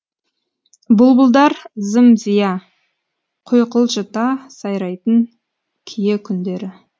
бұлбұлдар зим зия құйқылжыта сайрайтын кие күндері